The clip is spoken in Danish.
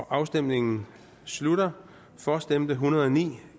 afstemningen slutter for stemte en hundrede og ni